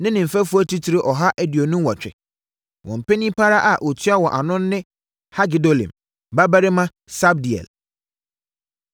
ne ne mfɛfoɔ atitire ɔha aduonu nwɔtwe (128). Wɔn panin pa ara a ɔtua wɔn ano no ne Hagedolim babarima Sabdiel.